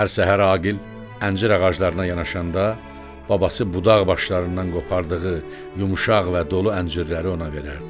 Hər səhər Aqil əncir ağaclarına yanaşanda babası budaq başlarından qopardığı yumşaq və dolu əncirləri ona verərdi.